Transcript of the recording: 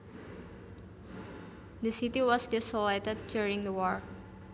The city was desolated during the war